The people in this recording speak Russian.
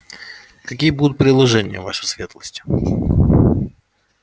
какие будут предложения ваша светлость